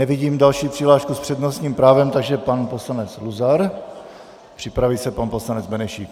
Nevidím další přihlášku s přednostním právem, takže pan poslanec Luzar, připraví se pan poslanec Benešík.